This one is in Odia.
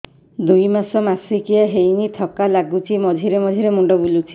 ଦୁଇ ମାସ ମାସିକିଆ ହେଇନି ଥକା ଲାଗୁଚି ମଝିରେ ମଝିରେ ମୁଣ୍ଡ ବୁଲୁଛି